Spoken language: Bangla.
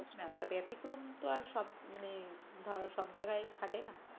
ব্যতিক্রম তো আর সব মনে ধরো সব জায়গায় খাটে না।